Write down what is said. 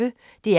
DR P1